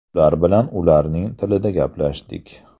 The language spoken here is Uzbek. Ular bilan ularning tilida gaplashdik.